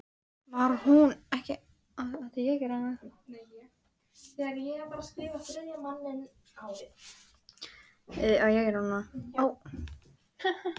Var hún ekki ánægð með að fá tækifærið?